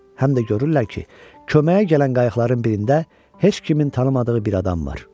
Həm də görürlər ki, köməyə gələn qayıqların birində heç kimin tanımadığı bir adam var.